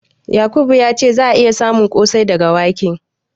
Yakubu ya ce za'a iya samun ƙosai daga wake.